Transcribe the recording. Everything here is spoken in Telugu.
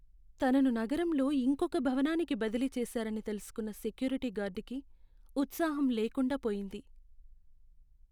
తనను నగరంలో ఇంకొక భవనానికి బదిలీ చేశారని తెలుసుకున్న సెక్యూరిటీ గార్డుకి ఉత్సాహం లేకుండా పోయింది.